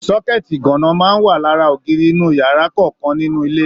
Sọkẹ̀tí iganna máa n wà lára ògiri inú yàrá kọọkan nínú ilé.